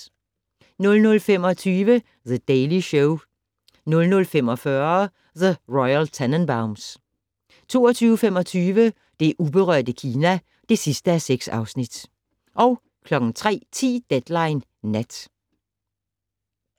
00:25: The Daily Show 00:45: The Royal Tenenbaums 02:25: Det uberørte Kina (6:6) 03:10: Deadline Nat